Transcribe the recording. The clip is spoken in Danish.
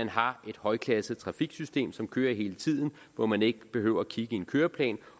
har et højklasset trafiksystem som kører hele tiden hvor man ikke behøver at kigge i en køreplan